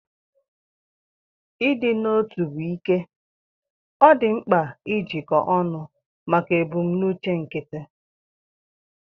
Ịdị n'otu bụ ike; ọ dị mkpa ijikọ ọnụ maka ebumnuche nkịtị.